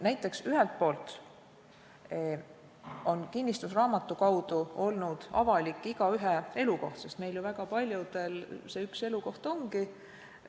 Näiteks, ühelt poolt on kinnistusraamatu kaudu olnud avalik igaühe elukoht, sest meist väga paljudel see üks elukoht ju ongi.